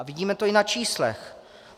A vidíme to i na číslech.